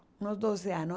nos doze anos.